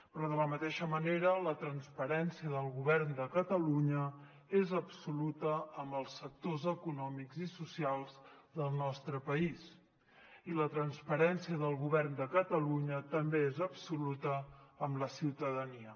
però de la mateixa manera la transparència del govern de catalunya és absoluta amb els sectors econòmics i socials del nostre país i la transparència del govern de catalunya també és absoluta amb la ciutadania